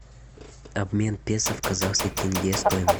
обмен песо в казахский тенге стоимость